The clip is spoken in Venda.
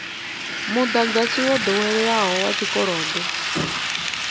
mudagasi wo doweleaho wa tshikolodo